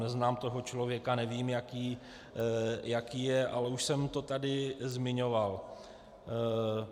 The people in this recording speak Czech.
Neznám toho člověka, nevím, jaký je, ale už jsem to tady zmiňoval.